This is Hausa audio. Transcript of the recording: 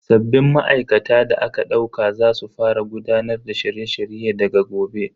Sabbin ma'aikata da aka dauka za su fara gudanar da shirye shirye daga gobe.